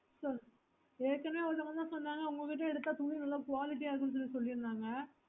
so ஏற்கனவே ஒருத்தங்க சொன்னாங்க உங்க கிட்டே எடுத்த என்போமே நல்ல quality ஆஹ் இருக்கும்னு சொன்னாங்க